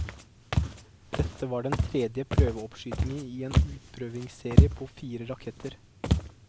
Dette var den tredje prøveoppskytning i en utprøvingsserie på fire raketter.